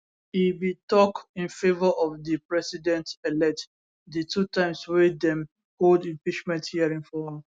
e bin tok in favour of di presidentelect di two times wey dem hold impeachment hearing for am